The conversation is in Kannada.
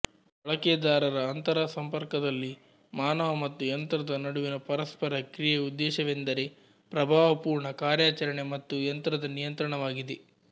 ಬಳಕೆದಾರರ ಅಂತರಸಂಪರ್ಕದಲ್ಲಿ ಮಾನವ ಮತ್ತು ಯಂತ್ರದ ನಡುವಿನ ಪರಸ್ಪರ ಕ್ರಿಯೆಯ ಉದ್ದೇಶವೆಂದರೆ ಪ್ರಭಾವಪೂರ್ಣ ಕಾರ್ಯಾಚರಣೆ ಮತ್ತು ಯಂತ್ರದ ನಿಯಂತ್ರಣವಾಗಿದೆ